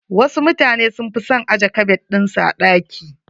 Wasu mutanen sun fi son ajje kabad ɗin su a ɗaki.